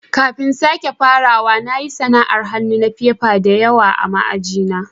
Kafin sake farawa, na yi sana'an hannu na fefa da yawa ma aji na.